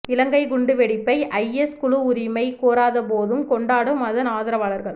இலங்கை குண்டுவெடிப்பை ஐஎஸ் குழு உரிமை கோராதபோதும் கொண்டாடும் அதன் ஆதரவாளர்கள்